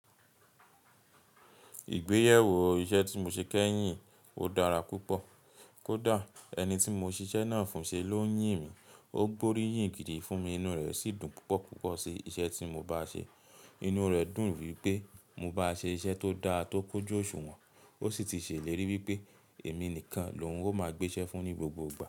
Ìgbéyàwó iṣẹ́ tí mo ṣe kẹ́yìn, ó dára púpọ̀. Kódà ẹni tí mo ṣiṣẹ́ náà fún ṣe ló ń yìn mí. Ó gbóríyìn gidi fún mi, inú rẹ̀ sì dùn púpọ̀, púpọ̀ sí iṣẹ́ tí mo bá ṣe. Inú rẹ̀ dùn wípé mo bá ṣe iṣẹ́ tó dá, tó kójú òṣùwọ̀n, ó sì ti ṣe ìlérí wípé èmi nìkan lóun ó máa gbéṣẹ́ fún ní gbogbo ìgbà.